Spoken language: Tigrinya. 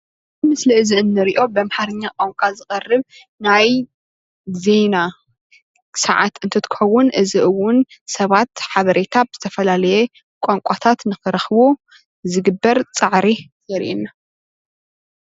ምስሊ እዚ እንርኦ ብ አምርሓኛ ቋንቋ ዝቐርብ ናይ ዜና ሰዓት እንትኽውን እዚ እውን ሰባት ሓበሬታ ብዝተፈላለየ ቋንቋታት ንክረክቡ ዝግበር ፃዕሪ የርኤና፡፡